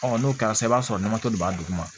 n'o kɛra sisan i b'a sɔrɔ namatɔ de b'a duguma